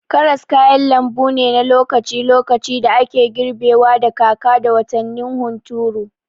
Karas kayan lambu ne na lokaci-lokaci da ake girbewa da kaka da watannin hunturu.